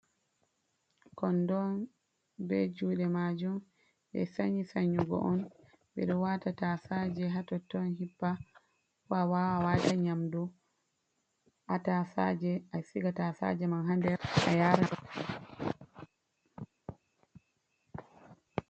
Kondo on be jude majun. Ɓe sanyi sannyugo on ɓeɗo wata tasaje ha totton hippa, ko awawan awata nyamdu ha tasaje a siga tasaje man ha nder a yara ma.